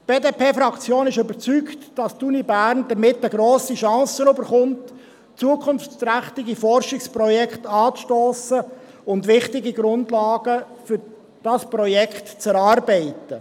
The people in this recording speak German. Die BDP-Fraktion ist überzeugt, dass die Universität Bern damit eine grosse Chance erhält, zukunftsträchtige Forschungsprojekte anzustossen und wichtige Grundlagen für dieses Projekt zu erarbeiten.